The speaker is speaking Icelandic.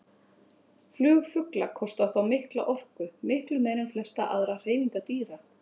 Flug fugla kostar þá mikla orku, miklu meiri en flestar aðrar hreyfingar dýra.